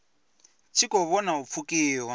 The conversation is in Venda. tshi khou vhona u pfukiwa